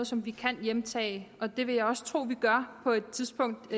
som vi kan hjemtage og det vil jeg også tro at vi gør på et tidspunkt